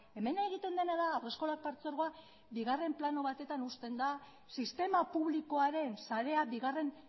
hemen egiten dena da haurreskolak partzuergoa bigarren plano batetan uzten da sistema publikoaren sarea bigarren